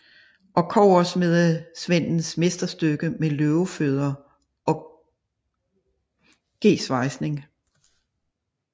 Og kobbersmedesvendens mesterstykke med løvefødder og gesvejsning